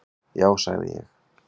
"""Já, sagði ég."""